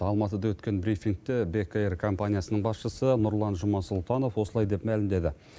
алматыда өткен брифингте бек эйр компаниясының басшысы нұрлан жұмасұлтанов осылай деп мәлімдеді